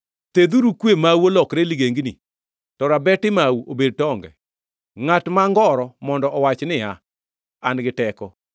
Thedhuru kwe mau olokre ligengni, to rabeti mau obed tonge. Ngʼat ma ngoro mondo owach niya, “An gi teko!”